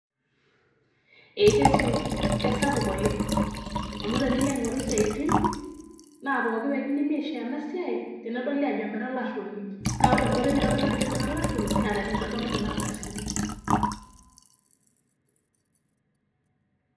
Eeh keti. Keisapuk oleng' amuu tenilo aing'oru siatin naa pookin ake pekidimi aisho ena siai tenedoli ajo mira olaruoni. Naa ore enkoitoi naitodolu ajo mira olaruoni naa tenintodulu kuna ardasini.